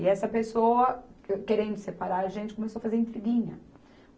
E essa pessoa, que querendo separar a gente, começou a fazer intriguinha.